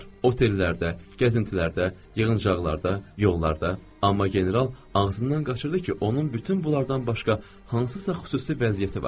Otellərdə, gəzintilərdə, yığıncaqlarda, yollarda, amma general ağzından qaçırdı ki, onun bütün bunlardan başqa hansısa xüsusi vəziyyəti var.